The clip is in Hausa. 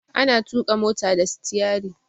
Ana tuƙa mota da stiyari.